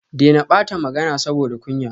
Dena bata magana saboda kunya